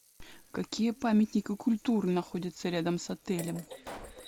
какие памятники культуры находятся рядом с отелем